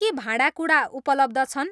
के भाँडाकुँडा उपलब्ध छन्?